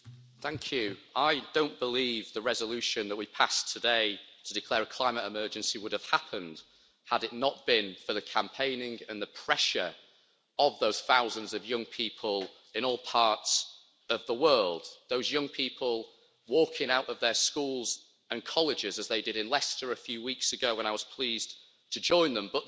Madam President, I don't believe the resolution that we passed today to declare a climate emergency would have happened had it not been for the campaigning and the pressure of those thousands of young people in all parts of the world those young people walking out of their schools and colleges as they did in Leicester a few weeks ago, when I was pleased to join them.